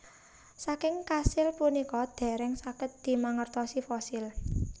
Saking kasil punika dèrèng saged dimangertosi fosil